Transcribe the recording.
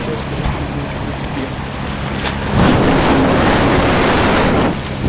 сейчас короче будет звук фена